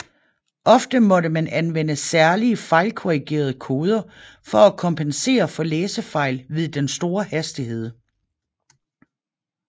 Ofte måtte man anvende særlige fejlkorrigerende koder for at kompensere for læsefejl ved den store hastighed